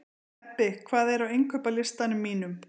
Ebbi, hvað er á innkaupalistanum mínum?